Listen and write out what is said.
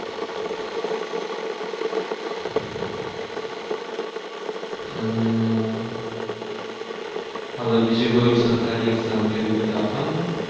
અને હવે બીજું કઈ સરકારી Exam કે એવી કઇક આપવાની